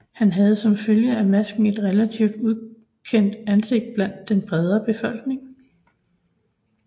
Han havde som følge af masken et relativt ukendt ansigt blandt den brede befolkning